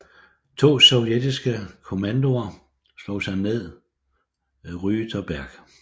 To sovjetiske kommandoer slog sig ned Rüterberg